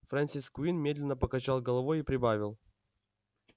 фрэнсис куинн медленно покачал головой и прибавил